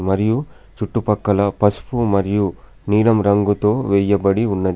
మరియు చుట్టుపక్కల పస్పూ మరియు నీలం రంగుతో వెయ్యబడి ఉన్నది.